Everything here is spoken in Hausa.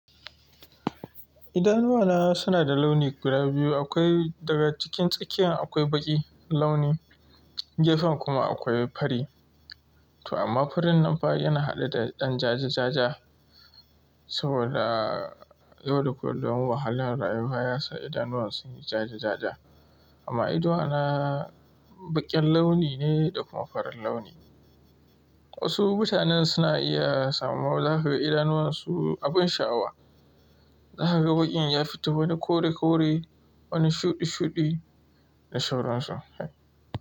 Idanuwana suna da launi guda biyu. Akwai a tsakiyar akwai launin baƙi, gefen kuma akwai fari. To amma farin nan fa yana haɗe da ɗan ja-ja-ja-ja. Saboda yau da kullum wahalar rayuwa yasa idanuwar sun yi ja-ja-ja-ja. Amma idanuwana baƙen launi ne da kuma farin launi. Wasu mutanen suna iya samunsu zaka ga idanuwansu abin sha'awa. Za ka ga baƙin ya fito wani kore-kore, wani shuɗi-shuɗi da sauransu.